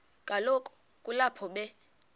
kaloku kulapho be